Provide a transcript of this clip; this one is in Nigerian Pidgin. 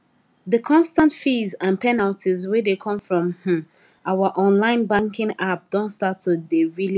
the constant fees and penalties wey dey come from um our online banking app don start to dey really add up